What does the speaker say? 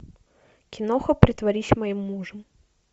киноха притворись моим мужем